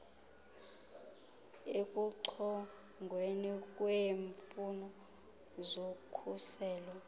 ekuchongweni kweemfuno zokhuselo